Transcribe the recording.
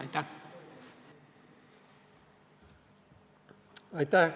Aitäh!